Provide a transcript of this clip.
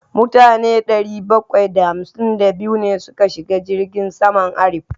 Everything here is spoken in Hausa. Mutane ɗari bakwai da hamsin da biyu ne suka shiga jirgin saman Arik.